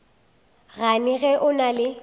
gane ge o na le